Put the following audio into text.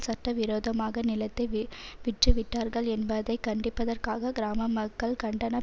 சட்ட விரோதமாக நிலத்தை விற்றுவிட்டார்கள் என்பதை கண்டிப்பதற்காக கிராம மக்கள் கண்டன